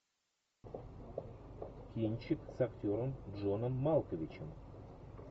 кинчик с актером джоном малковичем